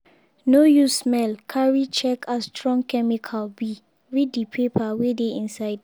no use smell carry check as strong chemical be read the paper wey dey inside.